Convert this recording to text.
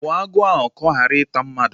Gbuo agwọ ahụ ka ọ ghara ịta mmadụ!